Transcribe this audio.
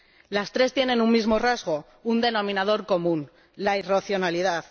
Las tres tienen un mismo rasgo, un denominador común la irracionalidad.